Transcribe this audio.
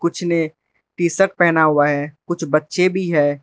कुछ ने टीशर्ट पहना हुआ है कुछ बच्चे भी हैं।